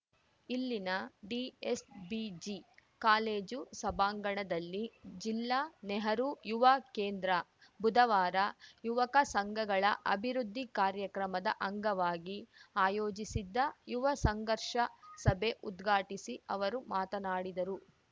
ಇಲ್ಲಿನ DSBG college ಸಭಾಂಗಣದಲ್ಲಿ ಜಿಲ್ಲಾ ನೆಹರು ಯುವ ಕೇಂದ್ರ ಬುಧವಾರ ಯುವಕ ಸಂಘಗಳ ಅಭಿವೃದ್ದಿ ಕಾರ್ಯಕ್ರಮದ ಅಂಗವಾಗಿ ಆಯೋಜಿಸಿದ್ದ ಯುವ ಸಂಘರ್ಷ ಸಭೆ ಉದ್ಘಾಟಿಸಿ ಅವರು ಮಾತನಾಡಿದರು